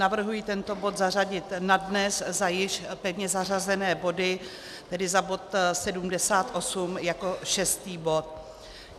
Navrhuji tento bod zařadit na dnes za již pevně zařazené body, tedy za bod 78 jako šestý bod.